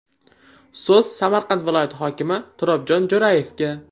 So‘z Samarqand viloyati hokimi Turobjon Jo‘rayevga.